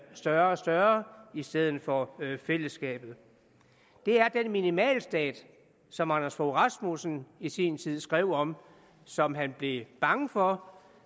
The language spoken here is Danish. større og større i stedet for fællesskabet det er den minimalstat som anders fogh rasmussen i sin tid skrev om som han blev bange for